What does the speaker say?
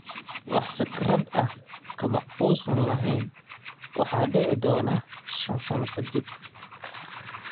Wax fikrad ah kama uusan lahayn waxa dhici doona 5 sano kadib.